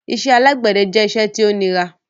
Ìṣẹ̀ alágbèdẹ̀ jẹ̀ ìṣẹ̀ tí o ní rà